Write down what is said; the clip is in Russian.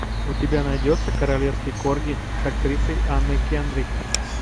у тебя найдется королевский корги с актрисой анной кендрик